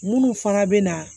Munnu fana bɛ na